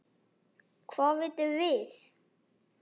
Hvað vitum við?